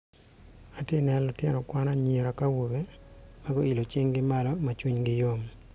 atye ka neno lutino kwan awobe ki anyira ma guilo cingi malo ma cwinygi yom